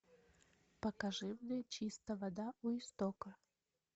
покажи мне чистая вода у истока